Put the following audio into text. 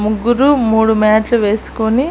ముగ్గురూ మూడు మ్యాట్లు వేసుకుని--